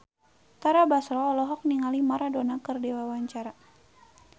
Tara Basro olohok ningali Maradona keur diwawancara